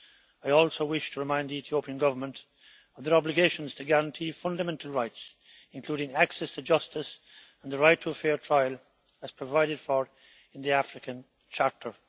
I also wish to remind the Ethiopian Government of their obligations to guarantee fundamental rights, including access to justice and the right to a fair trial, as provided for in the African Charter.